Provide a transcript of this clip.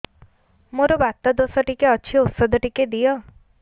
ମୋର୍ ବାତ ଦୋଷ ଟିକେ ଅଛି ଔଷଧ ଟିକେ ଦିଅ